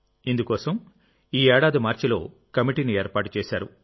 ఇందుకోసం ఈ ఏడాది మార్చిలో కమిటీని ఏర్పాటు చేశారు